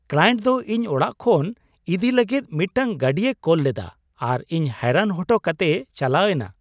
Client ᱫᱚ ᱤᱧ ᱚᱲᱟᱜ ᱠᱷᱚᱱ ᱤᱫᱤ ᱞᱟᱹᱜᱤᱫ ᱢᱤᱫᱴᱟᱝ ᱜᱟᱹᱰᱤᱭ ᱠᱳᱞ ᱞᱮᱫᱟ ᱟᱨ ᱤᱧ ᱦᱚᱭᱨᱟᱱ ᱦᱚᱴᱚ ᱠᱟᱛᱮᱭ ᱪᱟᱞᱟᱣ ᱮᱱᱟ ᱾